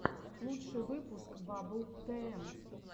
лучший выпуск баббл тм